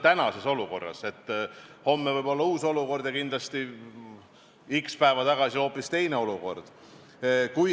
Aga see on tänases olukorras, homme võib-olla uus olukord ja kindlasti oli x arv päevi tagasi hoopis teine olukord.